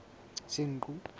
senqu